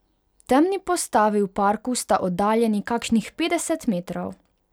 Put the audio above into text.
Temni postavi v parku sta oddaljeni kakšnih petdeset metrov.